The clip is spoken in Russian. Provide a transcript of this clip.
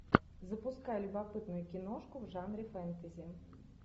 запускай любопытную киношку в жанре фэнтези